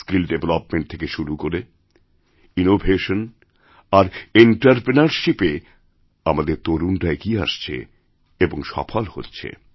skill development থেকে শুরু করে ইনোভেশন আরএন্টারপ্রেনারশিপে আমাদের তরুণরা এগিয়ে আসছে এবং সফল হচ্ছে